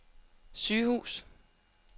sygehus